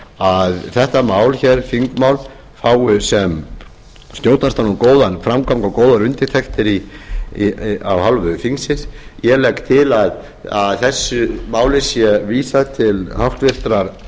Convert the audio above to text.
að þetta þingmál fái sem skjótastan og góðan framgang og góðar undirtektir af hálfu þingsins ég legg til að þessu máli sé vísað til háttvirtrar